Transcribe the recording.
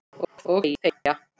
Og þegja.